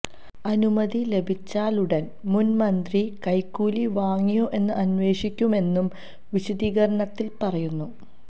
അനുമതി ലഭിച്ചാലുടന് മുന്മന്ത്രി കൈക്കൂലി വാങ്ങിയോ എന്ന് അന്വേഷിക്കുമെന്നും വിശദീകരണത്തിൽ പറയുന്നു